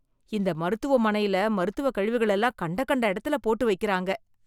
இந்த மருத்துவமனையில் மருத்துவக் கழிவுகள் எல்லாம் கண்ட கண்ட இடத்துல போட்டு வைக்கிறாங்க